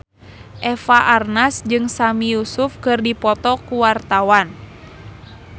Eva Arnaz jeung Sami Yusuf keur dipoto ku wartawan